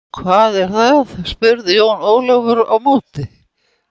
Hvað er það spurði Jón Ólafur á móti.